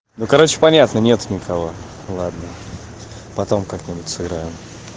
ну короче понятно нет никого ладно потом как-нибудь сыграем